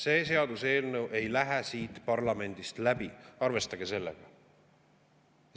See seaduseelnõu ei lähe siit parlamendist läbi, arvestage sellega.